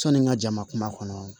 Sɔni n ka jama kɔnɔ